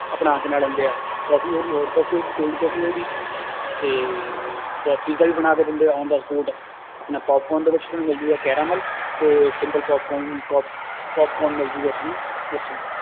ਆਪਣਾ ਕੀ ਨਾਂ ਲੈਂਦੇ ਹੈ ਕੋਫ਼ੀ ਹੋ ਗਈ hot ਕੋਫ਼ੀ ਹੋ ਗਈ cold ਕੋਫ਼ੀ ਹੋ ਗਈ ਤੇ ਅਹ ਪੀਜਾ ਵੀ ਬਣਾ ਕੇ ਦਿੰਦੇ ਹੈ on the spot ਆਪਣਾ ਪੋਪ ਕੋਰਨ ਦੇ ਵਿੱਚ ਤੁਹਾਨੂੰ ਮਿਲ ਜਾਊਗਾ caramel ਤੇ simple ਪੋਪਕੋਰਨ ਪੋਪਕੋਰਨ ਮਿਲ ਜਾਊਗਾ ਤੁਹਾਨੂੰ ਉੱਥੋਂ